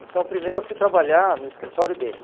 Então, primeiro eu fui trabalhar no escritório dele.